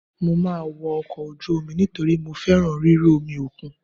Mo máa wọ ọkọ̀ ojú omi nítorí mo fẹ́ràn ríru omi òkun.